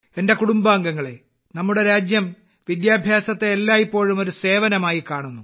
എന്റെ കുടുംബാംഗങ്ങളെ നമ്മുടെ രാജ്യത്ത് വിദ്യാഭ്യാസത്തെ എല്ലായിപ്പോഴും ഒരു സേവനമായി കാണുന്നു